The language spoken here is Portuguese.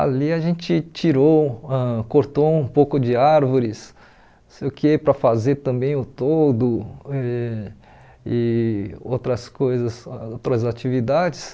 Ali a gente tirou ãh cortou um pouco de árvores não sei o quê para fazer também o toldo e e outras coisas, ãh outras atividades.